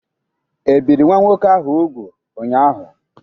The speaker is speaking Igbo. E biri nwa nwoke ahụ úgwù ụnyaahụ?